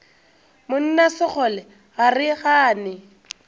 monna sekgole ga re gane